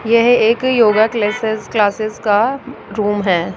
यह एक yoga classes classes का रूम है।